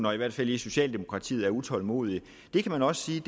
og i hvert fald i socialdemokratiet er utålmodige det kan man også sige